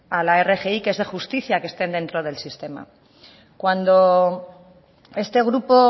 a la rgi que es de justicia que estén dentro del sistema cuando este grupo